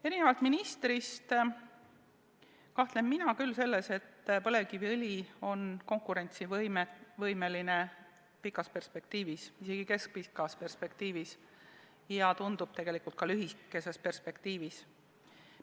Erinevalt ministrist mina küll kahtlen selles, et põlevkiviõli on konkurentsivõimeline pikas perspektiivis, isegi keskpikas perspektiivis ja tundub, et tegelikult ka lühikeses perspektiivis.